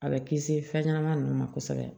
A bɛ kisi fɛn ɲɛnama ninnu ma kosɛbɛ